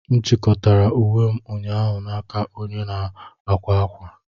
M chịkọtara uwe m ụnyaahụ n'aka onye na-akwa akwa.